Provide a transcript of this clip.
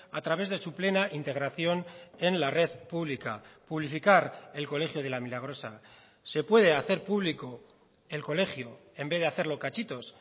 a través de su plena integración en la red pública publificar el colegio de la milagrosa se puede hacer público el colegio en vez de hacerlo cachitos